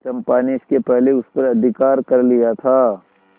चंपा ने इसके पहले उस पर अधिकार कर लिया था